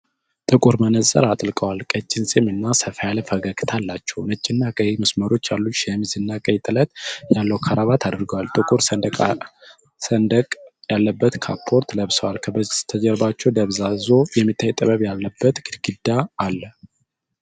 ጥቁር መነጽር አጥልቀዋል፣ ቀጭን ፂም እና ሰፋ ያለ ፈገግታ አላቸው። ነጭና ቀይ መስመሮች ያሉት ሸሚዝ እና ቀይ ጥለት ያለው ክራባት አድርገዋል። ጥቁር ሰንደቅ ያለበት ካፖርት ለብሰዋል፤ ከበስተጀርባው ደብዝዞ የሚታይ ጥበብ ያለበት ግድግዳ አለ።